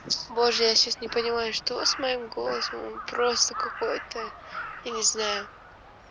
божья сейчас не понимаю что с моим голосом просто какой-то я не знаю